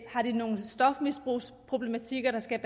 har nogle stofmisbrugsproblematikker der skal